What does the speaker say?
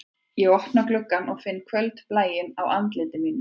Ég opna gluggann og finn kvöldblæinn á andliti mínu